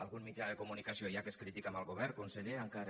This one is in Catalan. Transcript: algun mitjà de comunicació hi ha que és crític amb el govern conseller encara